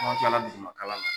n'an tilala dugumakalan na